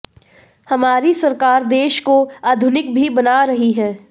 हमारी सरकार देश को आधुनिक भी बना रही है